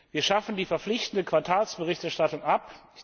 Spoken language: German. Wir schaffen die verpflichtende Quartalsberichterstattung ab.